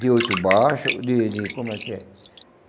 de oito baixos, de de... como é que é?